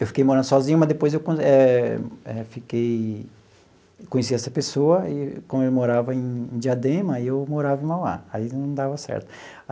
Eu fiquei morando sozinho, mas depois eu quando eh eh fiquei conheci essa pessoa, e como ele morava em em Diadema, aí eu morava em Mauá, aí não dava certo.